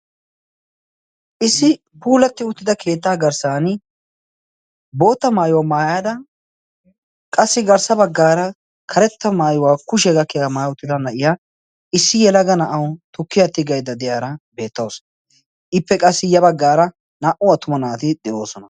issi puulati uttida keeta garssan bootta maayuwa maayyada issi yelaga na'awu tukkiya tiggaydda de'iyaara beettawus. ippe qa ya baggar naa''u attuma naati de'oosona.